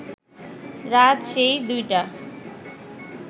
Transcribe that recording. রাত সেই দুইটা